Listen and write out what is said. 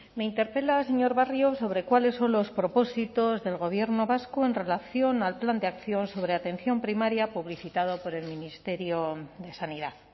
me interpela señor barrio sobre cuáles son los propósitos del gobierno vasco en relación al plan de acción sobre atención primaria publicitado por el ministerio de sanidad